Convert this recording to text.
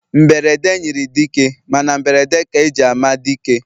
Mberede nyiri dike, Mana mberede ka eji ama dike